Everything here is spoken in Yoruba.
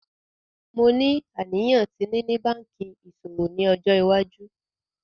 Mo ni aniyan ti nini banki iṣowo ni ọjọ iwaju.